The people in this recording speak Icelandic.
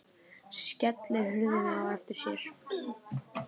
Skellir hurðinni á eftir sér.